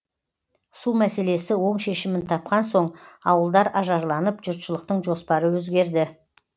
су мәселесі оң шешімін тапқан соң ауылдар ажарланып жұртшылықтың жоспары өзгерді